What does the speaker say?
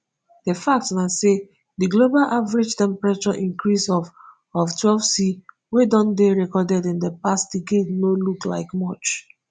di fact na say di global average temperature increase of of twelvec wey don dey recorded in di past decade no look like much